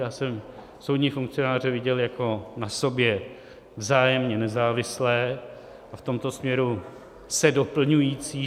Já jsem soudní funkcionáře viděl jako na sobě vzájemně nezávislé a v tomto směru se doplňující.